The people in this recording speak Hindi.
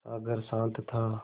सागर शांत था